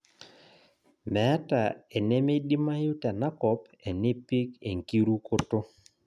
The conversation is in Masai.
Meeta enemeidimayu tenakop enipik enkirukoto